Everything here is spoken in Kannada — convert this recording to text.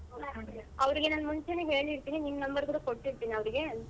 ಹ್ಮ್‌ ಅವ್ರಿಗೆ ನಾನ್ ಮುಂಚೆನೇ ಹೇಳಿರ್ತೀನಿ ನಿನ್ number ಕೂಡ ಕೊಟ್ಟಿರ್ತೀನಿ ಅವ್ರಿಗೆ.